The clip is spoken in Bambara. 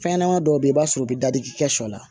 Fɛnɲɛnama dɔw bɛ i b'a sɔrɔ u bɛ dadigi kɛ sɔ la